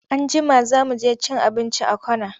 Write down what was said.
Anjima za mu je cin abinci a corner.